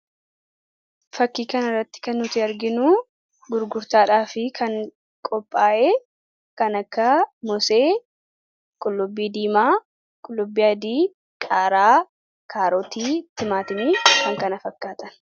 Fakkii kana irratti kan nuti arginu gurgurtaadhaaf kan qophaa'e kan akka mosee, qullubbii diimaa, qullubbii adii, qaaraa, kaarotii, timaatimii, kan kana fakkaatan.